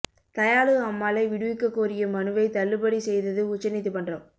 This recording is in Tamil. தயாளு அம்மாளை விடுவிக்கக் கோரிய மனுவைத் தள்ளுபடி செய்தது உச்ச நீதிமன்றம்